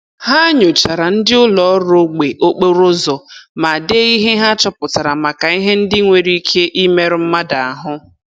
Ha nyochaara ndị ụlọ ọrụ ogbe okporo ụzọ ma dee ihe ha chọpụtara maka ihe ndị nwere ike imerụ mmadụ ahụ